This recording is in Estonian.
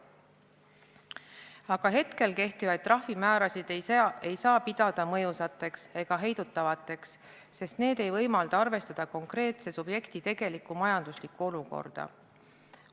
Aga hetkel kehtivaid trahvimäärasid ei saa pidada mõjusateks ega heidutavateks, sest need ei võimalda arvestada konkreetse subjekti tegelikku majanduslikku olukorda.